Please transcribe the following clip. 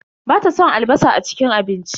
Bata son albasa a cikin abinci.